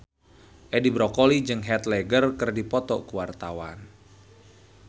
Edi Brokoli jeung Heath Ledger keur dipoto ku wartawan